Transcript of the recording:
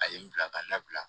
A ye n bila ka n labila